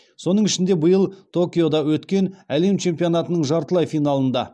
соның ішінде биыл токиода өткен әлем чемпионатының жартылай финалында